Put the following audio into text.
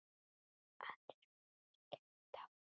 Aðrir brosa gegnum tárin.